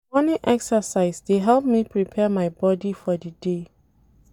Na morning excercise dey help me prepare my bodi for di day.